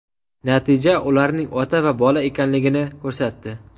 Natija ularning ota va bola ekanligini ko‘rsatdi.